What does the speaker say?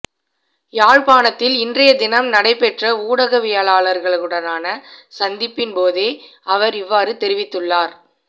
யாழ்ப்பாணத்தில் இன்றையதினம் நடைபெற்ற ஊடகவியலாளர்களுடனான சந்திப்பின் போதே அவர் இவ்வாறு தெரிவித்துள்ளார்